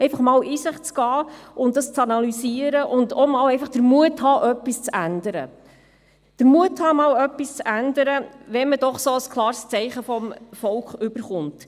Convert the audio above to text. Man sollte einmal in sich gehen, das analysieren und den Mut haben, etwas zu ändern, wenn man doch ein so klares Zeichen vom Volk erhält.